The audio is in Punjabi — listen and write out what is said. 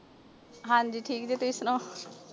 ਹਾਂਜੀ ਠੀਕ ਜੇ ਤੁਸੀਂ ਸੁਣਾਓ?